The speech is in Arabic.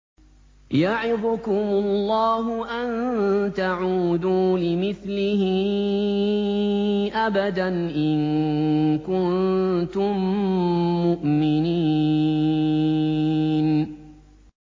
يَعِظُكُمُ اللَّهُ أَن تَعُودُوا لِمِثْلِهِ أَبَدًا إِن كُنتُم مُّؤْمِنِينَ